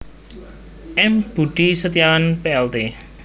M Budi Setiawan Plt